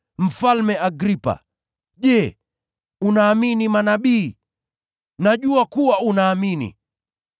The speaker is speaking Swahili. Mfalme Agripa, je, unaamini manabii? Najua kuwa unaamini.”